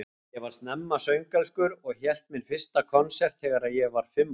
Ég var snemma söngelskur og hélt minn fyrsta konsert þegar ég var fimm ára.